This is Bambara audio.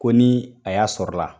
Ko ni a y'a sɔrɔ la